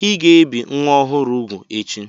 Ị ga-ebi nwa ọhụrụ úgwù echi!